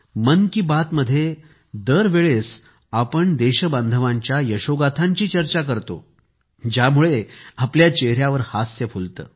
मन की बात मध्ये दर वेळेस आपण देशबांधवांच्या यशोगाथांची चर्चा करतो ज्यामुळे आपल्या चेहऱ्यावर हास्य फुलते